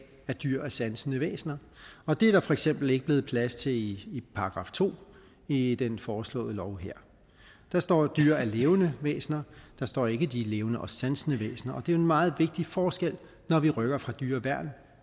at dyr er sansende væsener og det er der for eksempel ikke blevet plads til i § to i den foreslåede lov her der står at dyr er levende væsener der står ikke at de er levende og sansende væsener og det er meget vigtig forskel når vi rykker fra dyreværn